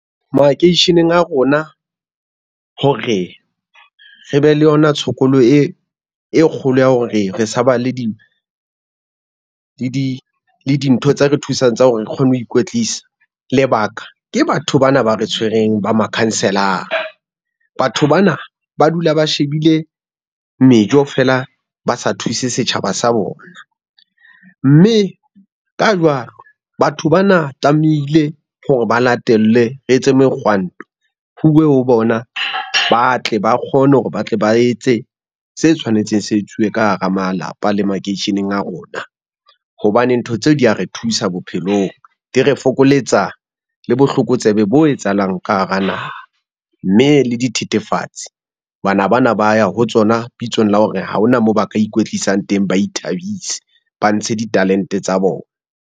Makeisheneng a rona hore re be le yona tshokolo e kgolo ya hore re sa ba le di dintho tse re thusang tsa hore re kgone ho ikwetlisa, lebaka ke batho bana ba re tshwereng ba makhanselara. Batho bana ba dula ba shebile mejo fela ba sa thuse setjhaba sa bona, mme ka jwalo batho ba na tlamehile hore ba latelle re etse mekgwanto huwe ho bona, ba tle ba kgone hore ba tle ba etse se tshwanetseng se etsuwe ka hara malapa le makeisheneng a rona. Hobane ntho tseo di re thusa bophelong, di re fokoletsa le botlokotsebe bo etsahalang ka hara naha, mme le dithethefatsi bana bana ba ya ho tsona bitsong la hore ha hona moo ba ka ikwetlisang teng, ba ithabise ba ntshe ditalente tsa bona.